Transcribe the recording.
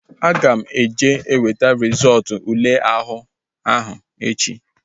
Aga m eje weta rizọọtu ule àhú áhụ̀ echi